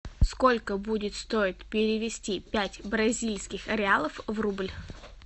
сколько будет стоить перевести пять бразильских реалов в рубль